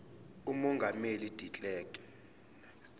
umongameli de klerk